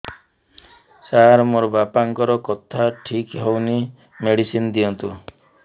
ସାର ମୋର ବାପାଙ୍କର କଥା ଠିକ ହଉନି ମେଡିସିନ ଦିଅନ୍ତୁ